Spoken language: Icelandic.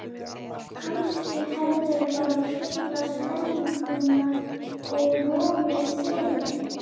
Kannski hefðirðu bara truflað stemninguna og rofið seiðinn.